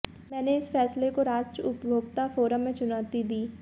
मैंने इस फैसले को राज्य उपभोक्ता फोरम में चुनौती दी